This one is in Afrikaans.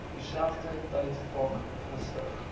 dieselfde tydvak gestig